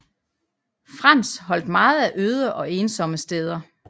Frans holdt meget af øde og ensomme steder